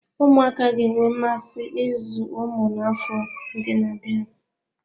Ụmụaka ga-enwe mmasị ịzụ ụmụ n'afọ ndị na-abịa.